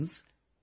Friends,